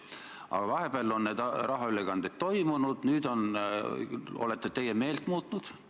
Aga vahepeal on tehtud rahaülekandeid ja nüüd olete teie meelt muutnud.